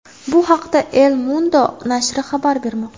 Bu haqda El Mundo nashri xabar bermoqda .